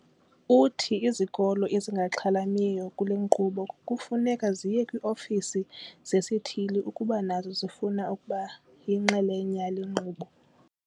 Uthi izikolo ezingaxhalamiyo kule nkqubo kufuneka ziye kwii-ofisi zesithili ukuba nazo zifuna ukuba yinxalenye yale nkqubo.